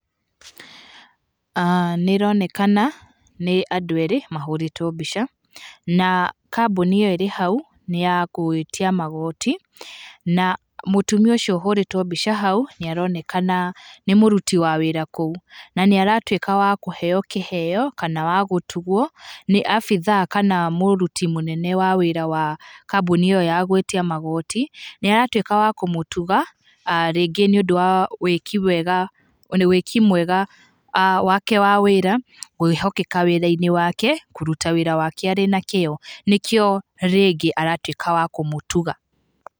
Nĩ ĩronekana, nĩ andũ erĩ mahũrĩtwo mbica na kambuni ĩo ĩrĩ hau nĩ ya gwĩtia magooti, na mũtumia ũcio ũhũrĩtwo mbica hau nĩ aronekana nĩ mũruti wa wĩra kũu na nĩ aratwĩka wa kũheo kĩheo kana wa gũtugwo nĩ abithaa kana mũruti mũnene wa wĩra wa kambuni ĩo ya gwĩtia magoti. Nĩ aratwĩka wa kũmũtuga, rĩngĩ nĩ ũndũ wa wĩkĩ wega, wĩki mwega wake wa wĩra, kwĩhokeka wĩra-inĩ wake, kũruta wĩra wake arĩ na kĩo, nĩkĩo rĩngĩ aratwĩka wa kũmũtuga.